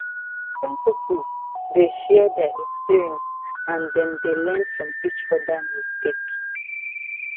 apprentices dey share their experience and dem dey learn from each other mistake